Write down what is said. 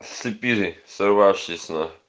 слепили сорвавшийся